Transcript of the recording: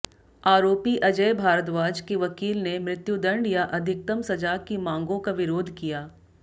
आरोपी अजय भारद्वाज के वकील ने मृत्युदंड या अधिकतम सजा की मांगों का विरोध किया